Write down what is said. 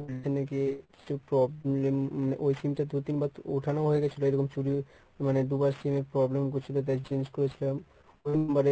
ওখানে গিয়ে কিছু problem ওই sim টা দুই তিনবার ওঠানো হয়েগেছিল এরকম চুরি মানে দুবার sim এ problem করছিল তাই change করেছিলাম মানে